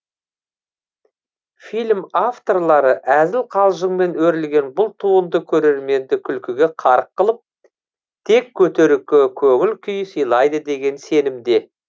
фильм авторлары әзіл қалжыңмен өрілген бұл туынды көрерменді күлкіге қарық қылып тек көтеріңкі көңіл күй сыйлайды деген сенімде